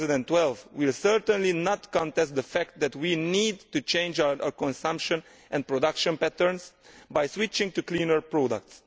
2012. We will certainly not contest the fact that we need to change our consumption and production patterns by switching to cleaner products.